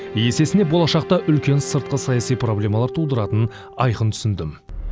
есесіне болашақта үлкен сыртқы саяси проблемалар тудыратынын айқын түсіндім